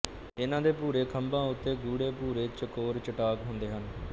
ਇਨ੍ਹਾਂ ਦੇ ਭੂਰੇ ਖੰਭਾਂ ਉੱਤੇ ਗੂੜ੍ਹੇ ਭੂਰੇ ਚਕੋਰ ਚੱਟਾਕ ਹੁੰਦੇ ਹਨ